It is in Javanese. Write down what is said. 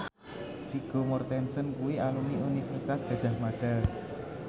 Vigo Mortensen kuwi alumni Universitas Gadjah Mada